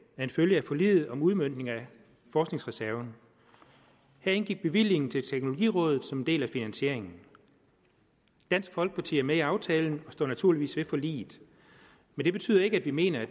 en følge af forliget om udmøntning af forskningsreserven her indgik bevillingen til teknologirådet som en del af finansieringen dansk folkeparti er med i aftalen og står naturligvis ved forliget det betyder ikke at vi mener det